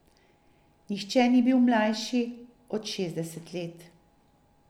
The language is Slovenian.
Nihče ni bil mlajši od šestdeset let.